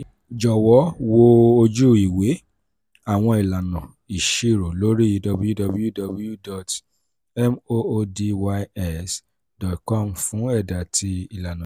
jọwọ wo oju-iwe awọn ilana iṣiro lori www.moodys.com fun ẹda ti ilana yii.